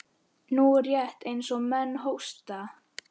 Nú, rétt eins og menn hósta.